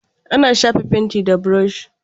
Ana shafa fenti da burushi.